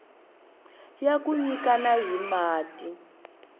ya ku nyikana hi mati